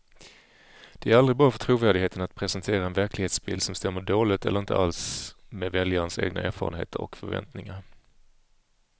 Det är aldrig bra för trovärdigheten att presentera en verklighetsbild som stämmer dåligt eller inte alls med väljarnas egna erfarenheter och förväntningar.